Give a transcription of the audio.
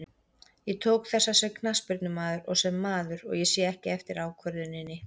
Ég tók þessa sem knattspyrnumaður og sem maður, og ég sé ekki eftir ákvörðuninni.